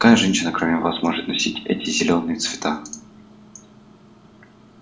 какая женщина кроме вас может носить эти зелёные цвета